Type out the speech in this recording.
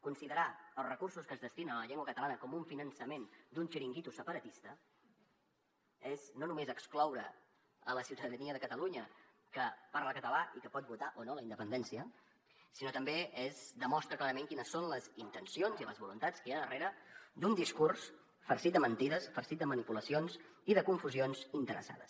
considerar els recursos que es destinen a la llengua catalana com un finançament d’un xiringuito separatista és no només excloure la ciutadania de catalunya que parla català i que pot votar o no la independència sinó que també es demostra clarament quines són les intencions i les voluntats que hi ha darrere d’un discurs farcit de mentides farcit de manipulacions i de confusions interessades